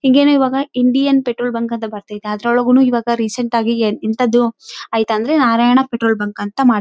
ಹಿಂಗನೇ ಇವಾಗ Indian petrol bunk ಅಂತ ಬರ್ತಯ್ತೆ ಅದ್ರೊಳಗೆನೂ ಇವಾಗ ರೀಸೆಂಟ್‌ ಆಗಿಯೇ ಇಂತದ್ದು ಐತೆ ಅಂದ್ರೆ ನಾರಾಯಣ ಪೆಟ್ರೋಲ್‌ ಬಂಕ್‌ ಅಂತಮಾಡ್.